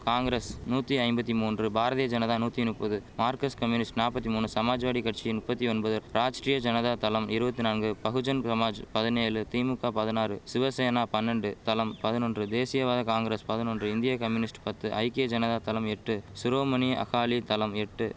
காங்கிரஸ் நூத்தி ஐம்பத்தி மூன்று பாரதிய ஜனதா நூத்தி நுப்பது மார்கஸ்ட் கம்யூனிஸ்ட் நாப்பத்தி மூனு சமாஜ்வாடி கட்சி நுப்பத்தி ஒன்பது ராஜ்டிரிய ஜனதா தளம் இருவத்தி நாங்கு பகுஜன் சமாஜ் பதினேலு திமுக பதினாறு சிவசேனா பன்னென்டு தளம் பதினொன்று தேசியவாத காங்கரஸ் பதினொன்று இந்திய கம்யூனிஸ்ட் பத்து ஐக்கிய ஜனதா தளம் எட்டு சிரோமணி அகாலி தளம் எட்டு